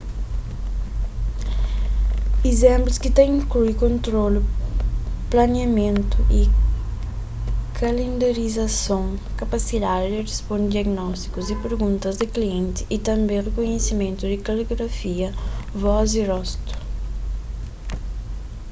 izénplus ta inklui kontrolu planiamentu y kalendarizason kapasidadi di risponde diagnótikus y perguntas di klienti y tanbê rikunhisimentu di kaligrafia vós y rostu